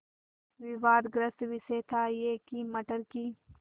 विवादग्रस्त विषय था यह कि मटर की